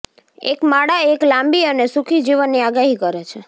એક માળા એક લાંબી અને સુખી જીવનની આગાહી કરે છે